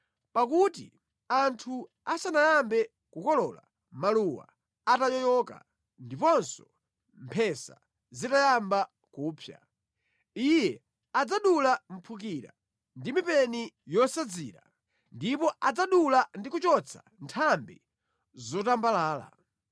Pakuti, anthu asanayambe kukolola, maluwa atayoyoka ndiponso mphesa zitayamba kupsa, Iye adzadula mphukira ndi mipeni yosadzira, ndipo adzadula ndi kuchotsa nthambi zotambalala.